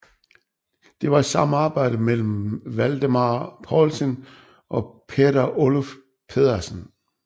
Det var et samarbejde mellem Valdemar Poulsen og Peder Oluf Pedersen